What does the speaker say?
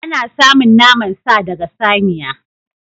Ana samun naman sa daga saniya.